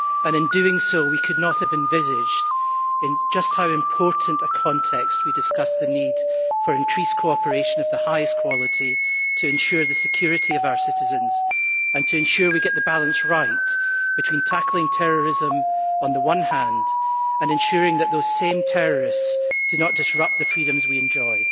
In doing so we could not have envisaged in just how important a context we would discuss the need for increased cooperation of the highest quality to ensure the security of our citizens and to ensure we get the balance right between tackling terrorism, on the one hand, and ensuring that those same terrorists do not disrupt the freedoms we enjoy.